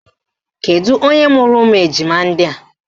Kedu onye mụrụ ụmụ ejima ndị a?